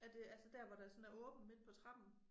Er det altså dér hvor der sådan er åbent midt på trappen